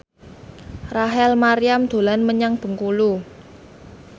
Rachel Maryam dolan menyang Bengkulu